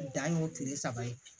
Dan ye o kile saba ye